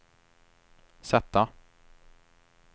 sätta